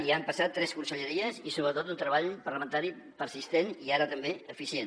hi han passat tres conselleries i sobretot un treball parlamentari persistent i ara també eficient